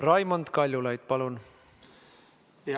Raimond Kaljulaid, palun!